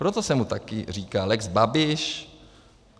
Proto se mu také říká lex Babiš.